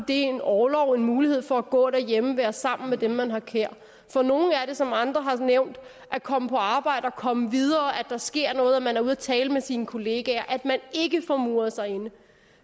en orlov en mulighed for at gå derhjemme og være sammen med dem man har kær for nogle er det som andre har nævnt at komme på arbejde og komme videre at der sker noget og at man er ude og tale med sine kollegaer at man ikke får muret sig inde